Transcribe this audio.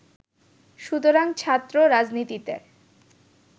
সুতরাং ছাত্র রাজনীতিতে